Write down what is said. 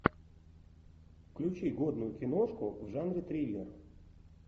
включи годную киношку в жанре триллер